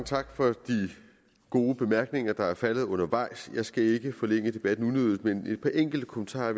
tak for de gode bemærkninger der er faldet undervejs jeg skal ikke forlænge debatten unødigt men give et par enkelte kommentarer